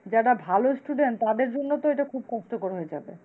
যারা ভালো student তাদের জন্য তো এটা খুব কষ্টকর হয়ে যাবে।